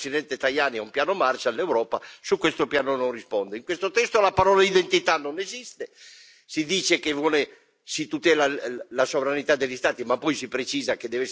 In questo testo la parola identità non esiste si dice che si tutela la sovranità degli Stati ma poi si precisa che deve essere subordinata agli accordi internazionali e quindi è una sovranità limitata.